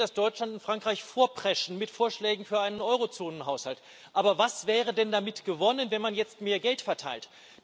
Wir sehen, dass Deutschland und Frankreich mit Vorschlägen für einen Eurozonenhaushalt vorpreschen. Aber was wäre denn damit gewonnen, wenn man jetzt mehr Geld verteilt?